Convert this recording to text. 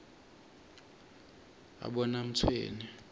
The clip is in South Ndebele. abonamtshweni